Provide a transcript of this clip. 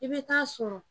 I bɛ taa sɔrɔ